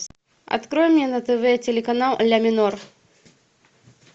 открой мне на тв телеканал ля минор